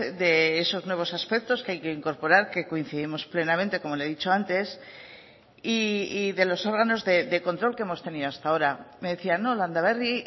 de esos nuevos aspectos que hay que incorporar que coincidimos plenamente como le he dicho antes y de los órganos de control que hemos tenido hasta ahora me decía no landaberri